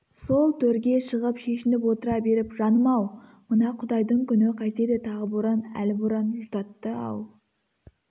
сол төрге шығып шешініп отыра беріп жаным-ау мына құдайдың күні қайтеді тағы боран әлі боран жұтатты-ау